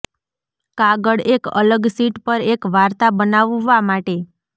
કાગળ એક અલગ શીટ પર એક વાર્તા બનાવવા માટે